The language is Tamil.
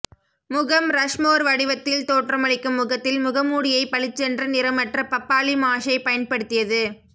முகம் ரஷ்மோர் வடிவத்தில் தோற்றமளிக்கும் முகத்தில் முகமூடியைப் பளிச்சென்ற நிறமற்ற பப்பாளி மாஷை பயன்படுத்தியது